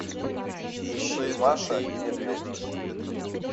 ищи маша и медведь